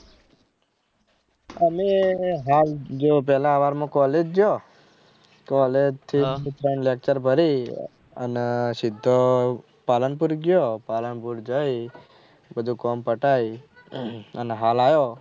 અને હેલ જે જલારામ માં college ગયો college થી ત્રણ lecture ભરી અને સિદ્ધો પાલનપુર ગયો પાલનપુર જયી બધું કામ પતાઈ અને હાલ આયો.